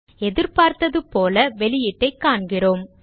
எதிர்பார்த்தது போல வெளியீட்டைக் காண்கிறோம்